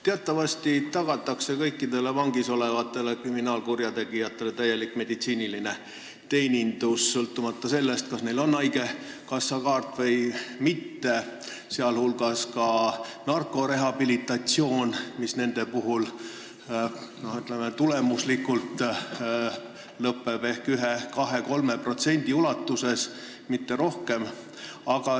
Teatavasti tagatakse kõikidele vangis olevatele kriminaalkurjategijatele täielik meditsiiniline teenindus, sõltumata sellest, kas neil on haigekassakaart või mitte, sh tagatakse narkorehabilitatsioon, mis tulemuslikult lõpeb ehk 1%-l, 2%-l või 3%-l nendest inimestest, mitte rohkem.